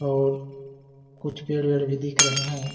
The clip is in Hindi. और कुछ पेड़-वेड भी दिख रहे है ।